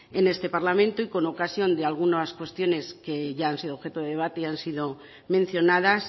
en este parlamento y con ocasión de algunas cuestiones que ya han sido objeto de debate y han sido mencionadas